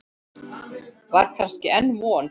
Var kannski enn von?